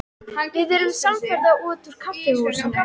Við urðum samferða út úr kaffihúsinu.